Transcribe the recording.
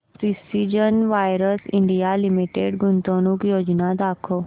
precision wires India limited गुंतवणूक योजना दाखव